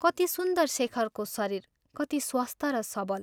कति सुन्दर शेखरको शरीर कति स्वस्थ र सबल!